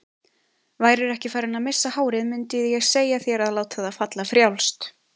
Værirðu ekki farinn að missa hárið mundið ég segja þér að láta það falla frjálst.